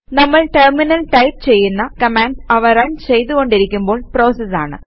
നമ്മൾ ടെർമിനലിൽ ടൈപ് ചെയ്യുന്ന കമാൻഡ്സ് അവ റൺ ചെയ്തു കൊണ്ടിരിക്കുമ്പോൾ പ്രോസസസ് ആണ്